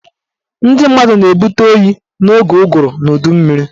Ndị mmadụ na-ebute oyi n'oge ụgụrụ na udummiri